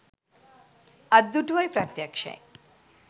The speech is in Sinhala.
අත්දුටුවයි ප්‍රත්‍යක්ෂයි